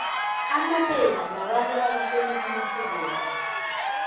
amapedi babantu abahlonipha amasiko wabo